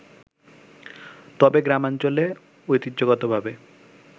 তবে গ্রামাঞ্চলে ঐতিহ্যগতভাবে